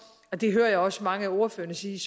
og det hører jeg også mange af ordførerne sige